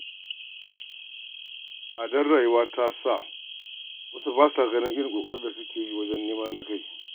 Tsadar rayuwa ta saka wasu ba sa ganin irin ƙoƙarin da suke yi wajen neman na kai.